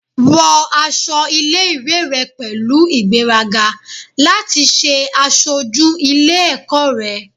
Wọ aṣọ ile-iwe rẹ pẹlu igberaga lati ṣe aṣoju ile-ẹkọ rẹ